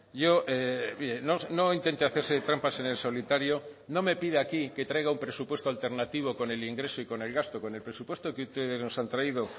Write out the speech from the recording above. yo no intente hacerse trampas en el solitario no me pide aquí que traiga un presupuesto alternativo con el ingreso y con el gasto con el presupuesto que ustedes nos han traído